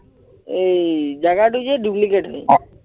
এই জাগাটোযে duplicate হয়